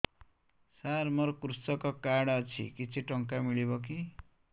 ସାର ମୋର୍ କୃଷକ କାର୍ଡ ଅଛି କିଛି ଟଙ୍କା ମିଳିବ କି